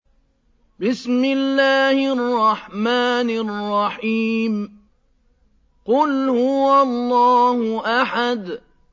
قُلْ هُوَ اللَّهُ أَحَدٌ